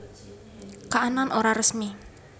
Kaanan Ora Resmi